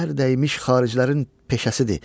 Çər dəymiş xaricilərin peşəsidir.